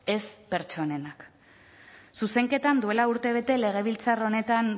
ez pertsonenak zuzenketan duela urte bete legebiltzar honetan